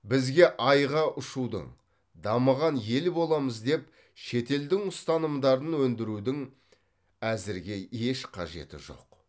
бізге айға ұшудың дамыған ел боламыз деп шетелдің ұстанымдарын өндірудің әзірге еш қажеті жоқ